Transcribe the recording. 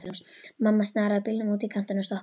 Mamma snaraði bílnum út í kantinn og stoppaði.